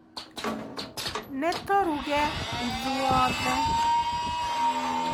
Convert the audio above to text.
Nítũrũge ithuothe.